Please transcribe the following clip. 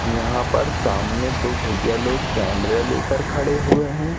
यहां पर सामने दो भइया लोग कैमरा लेकर खड़े हुए हैं।